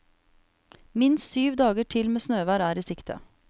Minst syv dager til med snøvær er i sikte.